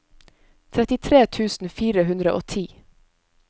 trettitre tusen fire hundre og ti